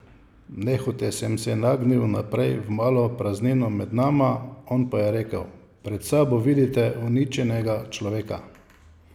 Nehote sem se nagnil naprej v malo praznino med nama, on pa je rekel: 'Pred sabo vidite uničenega človeka.